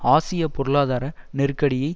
ஆசிய பொருளாதார நெருக்கடியை